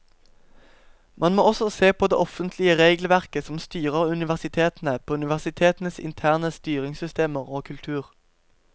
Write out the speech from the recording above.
Man må også se på det offentlige regelverket som styrer universitetene, på universitetenes interne styringssystemer og kultur.